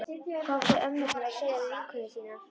Hvað áttu ömmurnar að segja við vinkonur sínar?